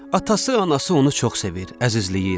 Atası, anası onu çox sevir, əzizləyir.